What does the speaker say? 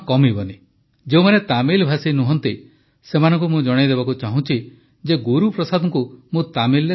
ଯେଉଁମାନେ ତାମିଲଭାଷୀ ନୁହନ୍ତି ସେମାନଙ୍କୁ ମୁଁ ଜଣାଇଦେବାକୁ ଚାହୁଁଛି ଯେ ଗୁରୁପ୍ରସାଦଙ୍କୁ ମୁଁ ତାମିଲରେ କହିଲି